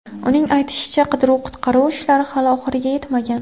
Uning aytishicha, qidiruv-qutqaruv ishlari hali oxiriga yetmagan.